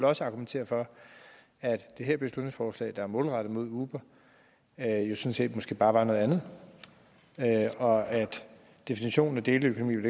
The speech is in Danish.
også argumentere for at det her beslutningsforslag der er målrettet uber måske bare var noget andet og at definitionen af deleøkonomi